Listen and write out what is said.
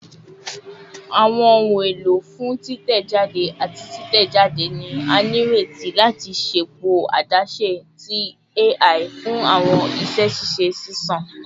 Awọn ohun elo fun titẹjade ati titẹjade ni a nireti lati ṣepọ adaṣe adaṣe ti AI fun awọn iṣẹ ṣiṣe ṣiṣan